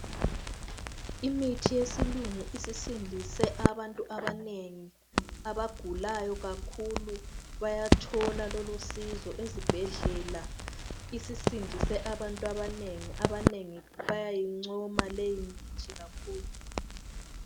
Imithi yesilungu isisindise abantu abanengi. Abagulayo kakhulu bayathola lolusizo ezibhedlela. Isisindise abantu abanengi, abanengi bayayincoma leyimithi kakhulu.